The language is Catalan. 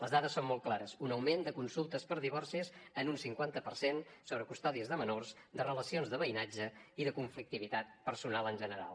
les dades són molt clares un augment de consultes per divorcis en un cinquanta per cent sobre custòdies de menors de relacions de veïnatge i de conflictivitat personal en general